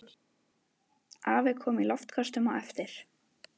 Afi kom í loftköstum á eftir.